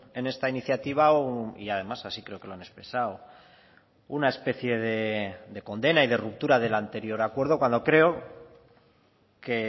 en esta iniciativa y además así creo que lo han expresado una especie de condena y de ruptura del anterior acuerdo cuando creo que